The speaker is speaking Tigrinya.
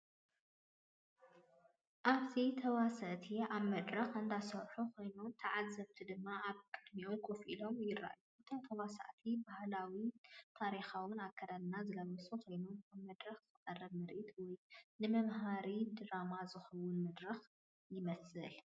ኣብዚ ተዋሳእቲ ኣብ መድረኽ እንዳሰርሑ ኮይኖም ተዓዘብቲ ድማ ኣብ ቅድሚኦም ኮፍ ኢሎም ይረኣዩ። እቶም ተዋሳእቲ ባህላውን ታሪኻውን ኣከዳድና ዝለበሱ ኮይኖም፡ ኣብ መድረኽ ዝቐርብ ምርኢት ወይ ንመምሃሪ ድራማ ዝኸውን መድረኽ ይመስል።